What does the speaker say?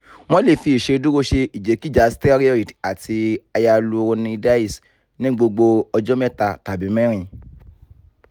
wọn lè fi iṣeduro ṣe ìjèkíja steroid àti hyaluronidase ní gbogbo ọjọ́ mẹta tàbí mẹrin